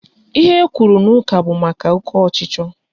Ihe ekwuru n'ụka bụ maka oke ọchịchọ